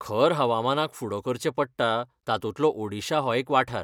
खर हवामानाक फुडो करचें पडटा तातूंतलो ओडिशा हो एक वाठार.